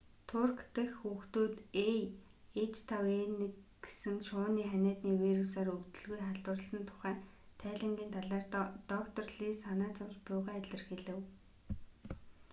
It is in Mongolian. турк дэх хүүхдүүд аh5n1 гэсэн шувууны ханиадны вирусаар өвдөлгүй халдварласан тухай тайлангийн талаар доктор лий санаа зовж буйгаа илэрхийлэв